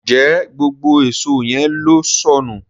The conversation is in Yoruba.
Njé gbógbó Èṣó yén ló sọnù?